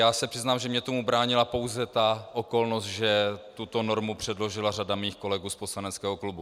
Já se přiznám, že mně tomu bránila pouze ta okolnost, že tuto normu předložila řada mých kolegů z poslaneckého klubu.